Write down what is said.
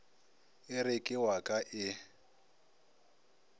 ere ke wa ka e